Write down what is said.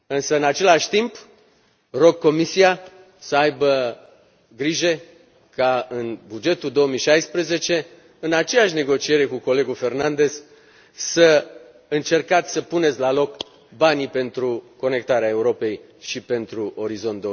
În același timp, rog Comisia să aibă grijă ca, în bugetul 2016, în aceeași negociere cu colegul Fernandes, să încerce să pună la loc banii pentru Mecanismul pentru interconectarea Europei și pentru Orizont